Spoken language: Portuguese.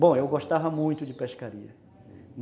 Bom, eu gostava muito de pescaria.